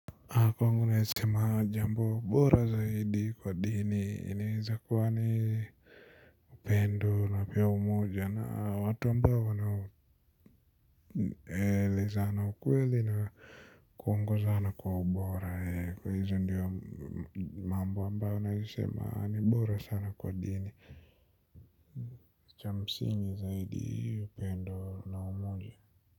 Na kwangu naeza sema jambo bora zaidi kwa dini, inaweza kuwa ni upendo na pia umoja na watu ambao wana elezana ukweli na kuongozana kwa ubora. Kwa hizo ndiyo mambo ambayo naezaa sema ni bora sana kwa dini, cha msingi zaidi upendo na umoja.